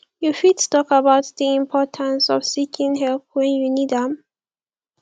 you fit talk about di importance of seeking help when you need am